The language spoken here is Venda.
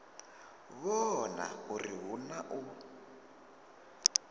vhona uri hu na u